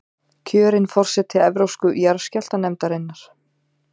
Kjörin forseti Evrópsku jarðskjálftanefndarinnar